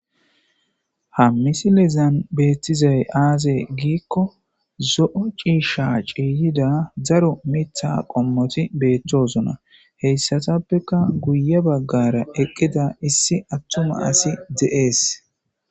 hammisilezan beettizay aaze giikko zo7o ciisha ciiyida daro mitha qommoti beetthosona heyssatappeka guye baggara eqqida issi attuma asi de7ees